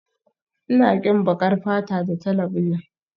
Ina ƙin baƙar fata da talabijin